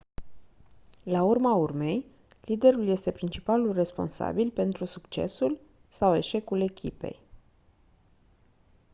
la urma urmei liderul este principalul responsabil pentru succesul sau eșecul echipei